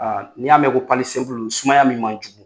Aaa n'i y'a mɛn ko sumaya min man jugu